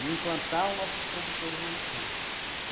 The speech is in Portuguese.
e implantar os nossos produtores lá no campo.